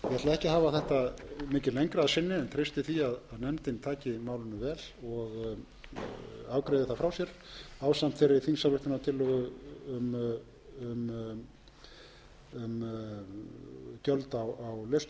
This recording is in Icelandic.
en treysti því að nefndin taki málinu vel og afgreiði það frá sér ásamt þeirri þingsályktunartillögu um gjöld á lestölvum sem væntanlega fylgir